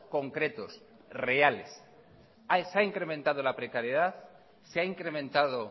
concretos reales se ha incrementado la precariedad se ha incrementado